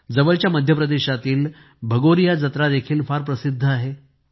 जवळच्या मध्य प्रदेशातील भगोरिया जत्रा देखील फार प्रसिद्ध आहे